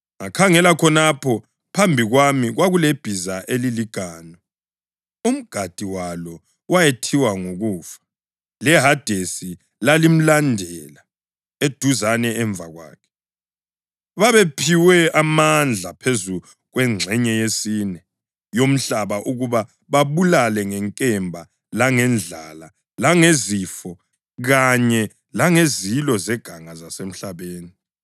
Ngakhangela, khonapho phambi kwami kwakulebhiza eliliganu! Umgadi walo wayethiwa nguKufa, leHadesi lalimlandela eduzane emva kwakhe. Babephiwe amandla phezu kwengxenye yesine yomhlaba ukuba babulale ngenkemba langendlala langezifo kanye langezilo zeganga zasemhlabeni.